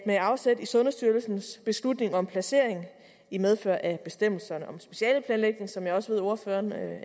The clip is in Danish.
med afsæt i sundhedsstyrelsens beslutning om placering i medfør af bestemmelserne om specialeplanlægning som jeg også ved ordføreren